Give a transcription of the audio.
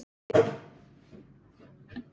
Ég væri þannig gerður.